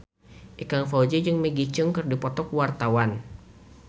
Ikang Fawzi jeung Maggie Cheung keur dipoto ku wartawan